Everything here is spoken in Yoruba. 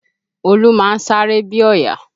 Olú máa ń sáré bí ọ̀yà